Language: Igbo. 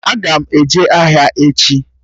Aga m eje ahịa echi